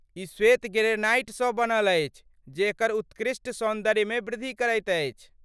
ई श्वेत ग्रेनाइटसँ बनल अछि जे एकर उत्कृष्ट सौन्दर्यमे वृद्धि करैत अछि।